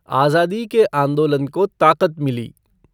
आज़ादी के आन्दोलन को ताक़त मिली।